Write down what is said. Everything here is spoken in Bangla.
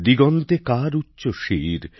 দিগন্তে কার উচ্চ শির